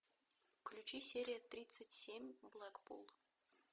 включи серию тридцать семь блэкпул